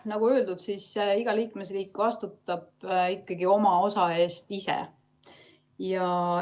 Nagu öeldud, siis iga liikmesriik vastutab ikkagi oma osa eest ise.